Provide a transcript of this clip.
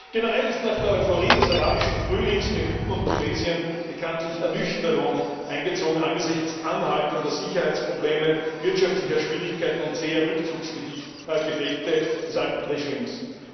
Generell ist nach der Euphorie des arabischen Frühlings in Ägypten und Tunesien bekanntlich Ernüchterung eingezogen, angesichts anhaltender Sicherheitsprobleme, wirtschaftlicher Schwierigkeiten und zäher Rückzugsgefechte des alten Regimes.